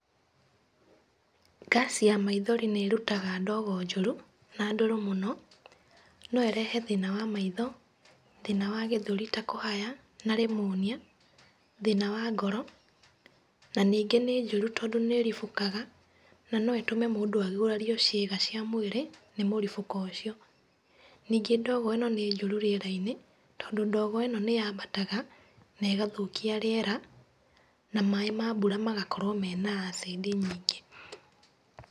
Ngaci ya maithori nĩ ĩrutaga ndogo njũru na ndũrũ mũno. No ĩrehe thĩna wa maitho, thĩna wa gĩthũri ta kũhaya na rimunia, thĩna wa ngoro, na ningĩ nĩ njũru, tondũ nĩ ĩribũkaga na no ĩtũme mũndũ agurario ciĩga cia mwĩrĩ nĩ mũribũko ũcio. Ningĩ ndogo ĩno nĩ njũru rĩera-inĩ, tondũ ndogo ĩno nĩ yambataga na ĩgathũkia rĩera, na maaĩ ma mbura magakorwo mena acid nyingĩ.